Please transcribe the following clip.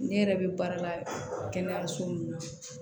Ne yɛrɛ bɛ baara la kɛnɛyaso min na